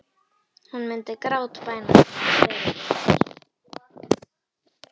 Hún myndi grátbæna hann um að fyrirgefa sér.